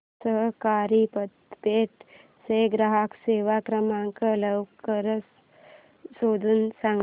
सहकारी पतपेढी चा ग्राहक सेवा क्रमांक लवकर शोधून सांग